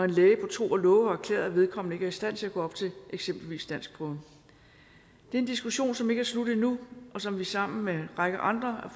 læge på tro og love har erklæret at vedkommende ikke er i stand til at gå op til eksempelvis danskprøven det er en diskussion som ikke er slut endnu og som vi sammen med en række andre af